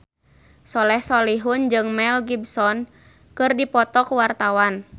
Soleh Solihun jeung Mel Gibson keur dipoto ku wartawan